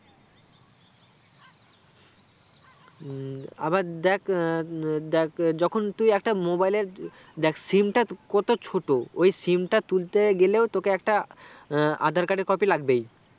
উম আবার দেখ ah um দেখ যখন তুই একটা mobile এর SIM টা কত ছোট ওই SIM টা তুলতে গেলেও তোকে একটা আহ Aadhar card এর copy লাগবেই